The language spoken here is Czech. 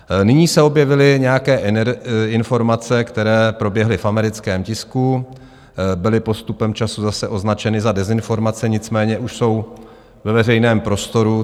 Nyní se objevily nějaké informace, které proběhly v americkém tisku, byly postupem času zase označeny za dezinformace, nicméně už jsou ve veřejném prostoru.